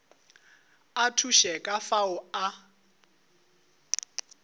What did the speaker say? a thuše ka fao a